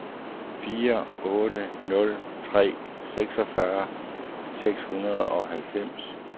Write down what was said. fire otte nul tre seksogfyrre seks hundrede og halvfems